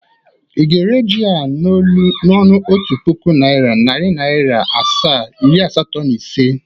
Ị ga-ere ji a n''ọnụ otu puku naira, nari Naira asaa, iri asato na isii?